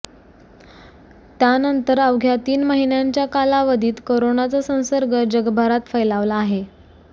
त्यानंतर अवघ्या तीन महिन्यांच्या कालावधीत करोनाचा संसर्ग जगभरात फैलावला आहे